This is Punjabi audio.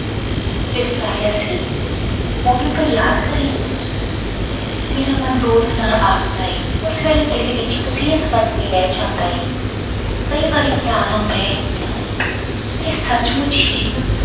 ਤਿਰਸਕਾਰਿਆ ਸੀ ਉਹਨੂੰ ਤੂੰ ਯਾਦ ਕਰੇ ਮੇਰਾ ਮਨ ਰੋਸ਼ ਨਾਲ ਆਖਦਾ ਹੈ ਉਸ ਵੇਲੇ ਦਿਲ ਵਿੱਚ ਰਹਿ ਜਾਂਦਾ ਹੈ ਕਈ ਵਾਰੀ ਖਿਆਲ ਆਉਂਦਾ ਹੈ ਕਿ ਸੱਚ ਮੁੱਚ ਹੀ